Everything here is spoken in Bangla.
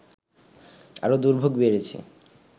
আরো দুর্ভোগ বেড়েছে